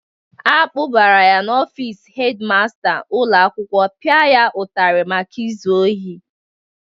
A kpụbara ha n'ofiisi hedi masta ụlọ akwụkwọ pịa ụtarị maka izu ohi.